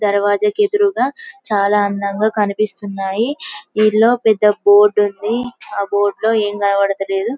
ధరవాజకి ఎదురుగా చాలా అందంగా కనిపిస్తున్నాయి దీనిలో పెద్ద బోర్డ్ ఉంది ఆ బోర్డు లో ఏం కనబడుతా లేదు